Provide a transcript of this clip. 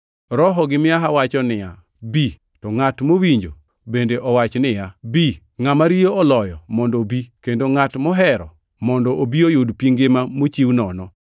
Roho gi miaha wacho niya, “Bi!” To ngʼat mowinjo, bende owach niya, “Bi!” Ngʼama riyo oloyo, mondo obi, kendo ngʼat mohero, mondo obi oyud pi ngima mochiw nono.